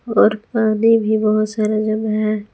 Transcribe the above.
और पानी भी बहुत सारे जगह है।